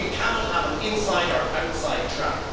We cannot have an inside or outside track.